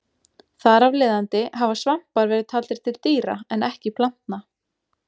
Þar af leiðandi hafa svampar verið taldir til dýra en ekki plantna.